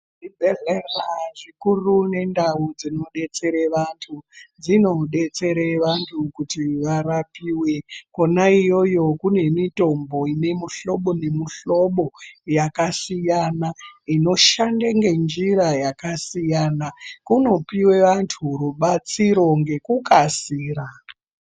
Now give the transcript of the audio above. Zvibhedhlera zvikuru nendau dzinodetsere vantu, dzinodetsere vantu kuti varapiwe. Kwona iyoyo kune mutombo ine muhlobo nemuhlobo yakasiyana ,inoshande ngenjira yakasiyana. Kunopiwe vantu rubatsiro ngekukasira .